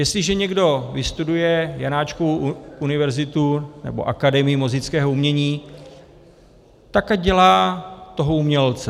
Jestliže někdo vystuduje Janáčkovu univerzitu nebo Akademii múzických umění, tak ať dělá toho umělce;